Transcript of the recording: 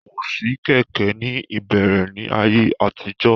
Kò sí kẹ̀kẹ́ ní ìbẹ̀rẹ̀ ní ayé àtijọ́